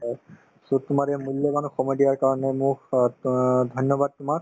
so, তোমাৰ এই মূল্যবান সময় দিয়াৰ কাৰণে মোক অ ধন্যবাদ তোমাৰ